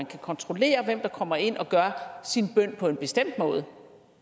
kan kontrollere hvem der kommer ind og beder sin bøn på en bestemt måde